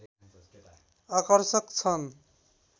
आकर्षक छन्